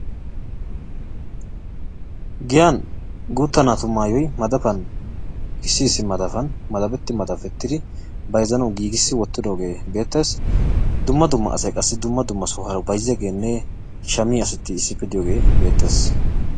Giyan guutta naatu maayoyi madafan issi issi madafan madafetti madafettidi bayzzanawu giigissi wottidoogee beettes. Dumma dumma asayi qassi dumma dumma sohuwara bayzziyageenne shammiya asati issippe diyogee beettes.